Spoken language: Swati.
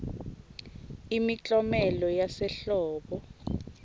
imiklomelo yasehlobo